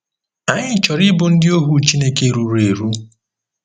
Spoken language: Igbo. Anyị chọrọ ịbụ ndị ohu Chineke ruru eru.